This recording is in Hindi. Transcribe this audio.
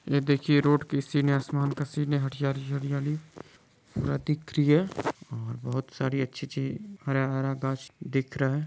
ये देखिये रोड कि सीन आसमान का सीन है हरियाली-हरियाली पूरा दिख रही हैं बहुत सारी अच्छी सी हरा-हरा घास दिख रहा हैं।